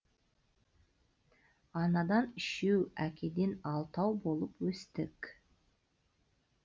анадан үшеу әкеден алтау болып өстік